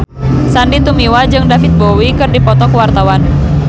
Sandy Tumiwa jeung David Bowie keur dipoto ku wartawan